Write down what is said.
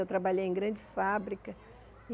Eu trabalhei em grandes fábricas.